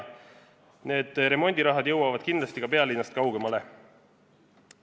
Need remondirahad jõuavad kindlasti ka pealinnast kaugemale.